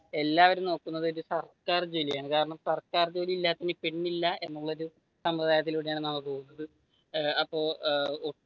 എല്ലാവരും നോക്കുന്നത് ഒരു സർക്കാർ ജോലിയാണ് കാരണം സർക്കാർ ജോലിയില്ലാത്തവർക്ക് പെണില്ല എന്നുള്ളയൊരു സംഭൃധായത്തിലൂടെയാണ് നമ്മൾ പോകുന്നത് ഏർ അപ്പൊ ഏർ